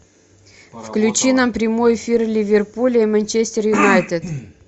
включи нам прямой эфир ливерпуля и манчестер юнайтед